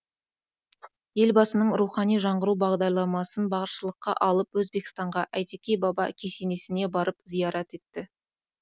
елбасының рухани жаңғыру бағдарламасын басшылыққа алып өзбекстанға әйтеке баба кесенесіне барып зиярат етті